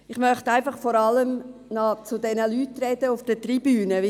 Ich möchte mich vor allem an die Gäste auf der Tribüne wenden.